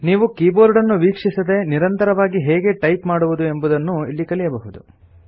ನೀವು ಕೀಬೋರ್ಡನ್ನು ವೀಕ್ಷಿಸದೇ ನಿರಂತರವಾಗಿ ಹೇಗೆ ಟೈಪ್ ಮಾಡುವುದು ಎಂಬುದನ್ನೂ ಇಲ್ಲಿ ಕಲಿಯಬಹುದು